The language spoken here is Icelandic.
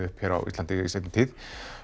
upp hér á Íslandi í seinni tíð